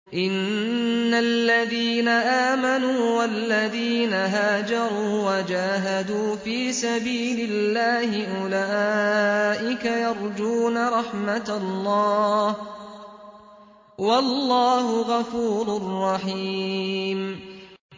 إِنَّ الَّذِينَ آمَنُوا وَالَّذِينَ هَاجَرُوا وَجَاهَدُوا فِي سَبِيلِ اللَّهِ أُولَٰئِكَ يَرْجُونَ رَحْمَتَ اللَّهِ ۚ وَاللَّهُ غَفُورٌ رَّحِيمٌ